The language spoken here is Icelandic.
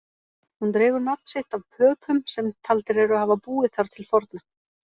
Hún dregur nafn sitt af Pöpum sem taldir eru hafa búið þar til forna.